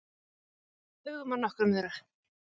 Hugum að nokkrum þeirra.